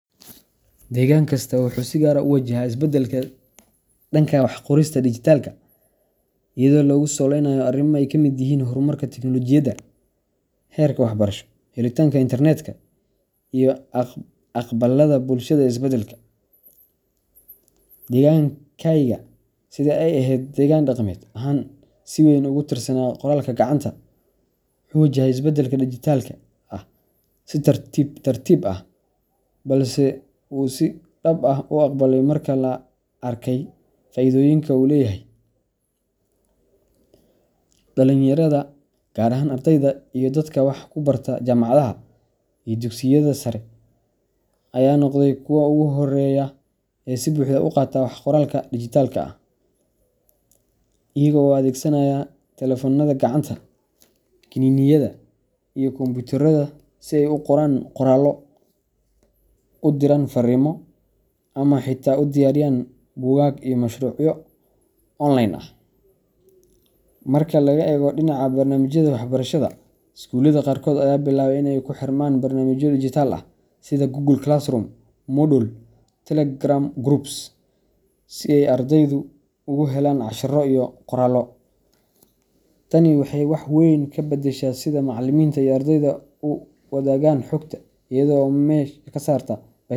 Deegaan kasta wuxuu si gaar ah u wajahaa isbeddelka dhanka wax qorista dhijitaalka ah iyadoo lagu saleynayo arrimo ay ka mid yihiin horumarka tiknoolajiyadda, heerka waxbarasho, helitaanka internetka, iyo aqbalaadda bulshada ee isbeddelka. Deegaankayga, sida ay ahayd deegaan dhaqameed ahaan si weyn ugu tiirsanaa qoraalka gacanta, wuxuu wajahay isbeddelka dhijitaalka ah si tartiib tartiib ah, balse uu si dhab ah u aqbalay marka la arkay faa’iidooyinka uu leeyahay. Dhalinyarada, gaar ahaan ardayda iyo dadka wax ku barta jaamacadaha iyo dugsiyada sare, ayaa noqday kuwa ugu horreeya ee si buuxda u qaata wax qoraalka dhijitaalka ah, iyaga oo adeegsanaya taleefannada gacanta, kiniiniyada, iyo kombiyuutarada si ay u qoraan qoraallo, u diraan fariimo, ama xitaa u diyaariyaan buugaag iyo mashruucyo online ah. Marka laga eego dhinaca barnaamijyada waxbarashada, iskuulada qaarkood ayaa bilaabay in ay ku xirmaan barnaamijyo dhijitaal ah sida Google Classroom, Moodle, Telegram groups si ay ardaydu ugu helaan casharro iyo qoraallo. Tani waxay wax weyn ka beddeshay sida macallimiinta iyo ardaydu u wadaagaan xogta, iyada oo meesha ka saarta.